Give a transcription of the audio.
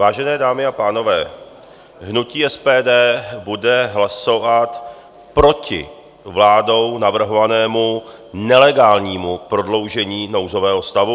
Vážené dámy a pánové, hnutí SPD bude hlasovat proti vládou navrhovanému nelegálnímu prodloužení nouzového stavu.